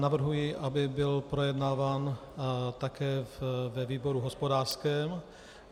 Navrhuji, aby byl projednáván také ve výboru hospodářském.